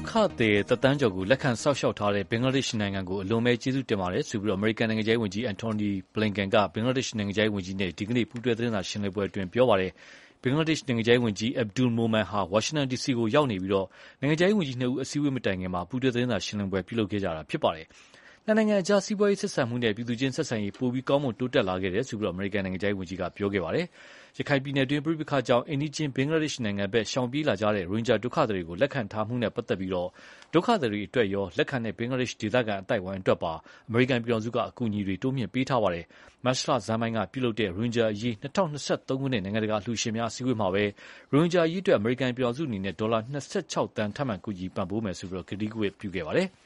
ခသည်တသန်းကျော်ကို လက်ခံစောင့်ရှောက်ထားတဲ့ ဘင်္ဂလားဒေ့ရှ်နိုင်ငံကို အလွန်တရာကျေးဇူးတင်ရတယ်လို့ အမေရိကန်နိုင်ငံခြားရေးဝန်ကြီး Antony Blinken က ဘင်္ဂလားဒေ့ရှ်နိုင်ငံခြားရေးဝန်ကြီးနဲ့ ဒီကနေ့ ပူးတွဲသတင်းစာရှင်းလင်းပွဲမှာ ပြောပါတယ်။ ဘင်္ဂလားဒေ့ရှ်နိုင်ငံခြားရေးဝန်ကြီး Abdul Momen ဟာ ဝါရှင်တန်ဒီစီကိုရောက်ရှိနေပြီး နိုင်ငံခြားရေးဝန်ကြီးနှစ်ဦး အစည်းအဝေးမတိုင်ခင် ပူးတွဲသတင်းစာရှင်းလင်းပွဲပြုလုပ်ခဲ့ကြပါတယ်။ နှစ်နိုင်ငံကြား စီးပွားရေးဆက်ဆံမှုနဲ့ ပြည်သူချင်းဆက်ဆံရေး ပိုမိုကောင်းမွန်တိုးတက်လာခဲ့တယ်လို့ အမေရိကန်နိုင်ငံခြားရေးဝန်ကြီးက ပြောခဲ့ပါတယ်။ ရခိုင်ပြည်နယ်တွင်း ပဋိပက္ခတွေကြောင့် အိမ်နီးချင်း ဘင်္ဂလားဒေ့ရှ်နိုင်ငံဘက် ရှောင်ပြေးလာကြရတဲ့ ရိုဟင်ဂျာဒုက္ခသည်တွေကို လက်ခံထားတာနဲ့ပတ်သက်လို့ ဒုက္ခသည်တွေအတွက်ရော လက်ခံတဲ့ ဘင်္ဂလားဒေ့ရှ်ဒေသခံအသိုက်အဝန်းအတွက်ပါ အမေရိကန်ပြည်ထောင်စုက အကူအညီတွေ တိုးမြှင့်ပေးထားပါတယ်။ မတ်လဆန်းပိုင်းက ပြုလုပ်တဲ့ ရိုဟင်ဂျာအရေး ၂၀၂၃ ခုနှစ် နိုင်ငံတကာအလှုရှင်များအစည်းအဝေးမှာပဲ ရိုဟင်ဂျာအရေးအတွက် အမေရိကန်ပြည်ထောင်စုအနေနဲ့ ဒေါ်လာ ၂၆ သန်း ထပ်မံကူညီပံ့ပိုးမယ်လို့ ဂတိကဝတ်ပြုခဲ့ပါတယ်။